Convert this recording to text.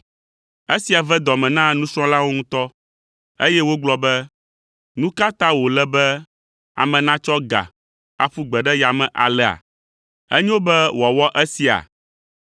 Esia ve dɔ me na nusrɔ̃lawo ŋutɔ, eye wogblɔ be, “Nu ka ta wòle be ame natsɔ ga aƒu gbe ɖe yame alea? Enyo be wòawɔ esia?